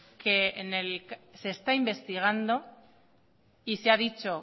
se está investigando y se ha dicho